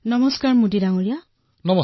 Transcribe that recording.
নমস্কাৰ মোদীজী